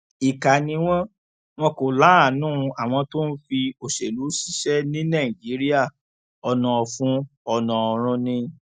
ìkà ni wọn wọn kò láàánú àwọn tó ń fi òṣèlú ṣiṣẹ ní nàìjíríà ọnà ọfun ọnà ọrun ni